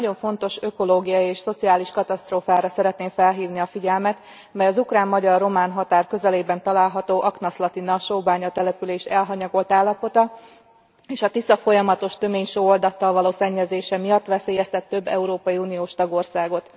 Egy nagyon fontos ökológiai és szociális katasztrófára szeretném felhívni a figyelmet, mely az ukrán magyar román határ közelében található Aknaszlatina sóbánya település elhanyagolt állapota, és a Tisza folyamatos töménysóoldattal való szennyezése miatt veszélyeztet több európai uniós tagországot.